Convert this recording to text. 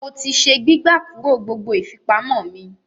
Mo ti se “ gbígbà kúrò ” gbogbo ìfipamọ́ mi.